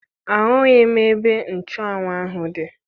Ahụghị m ebe nchụanwụ ahụ dị